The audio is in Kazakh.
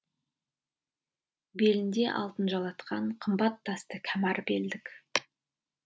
белінде алтын жалатқан қымбат тасты кәмәр белдік